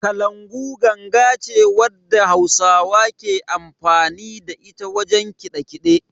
Kalangu ganga ce wadda hausawa ke amfani da ita wajen kiɗe-kiɗe.